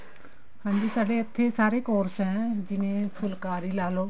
ਹਾਂਜੀ ਸਾਡੇ ਇੱਥੇ ਸਾਰੇ course ਨੇ ਜਿਵੇਂ ਫੁਲਕਾਰੀ ਲਾਲੋ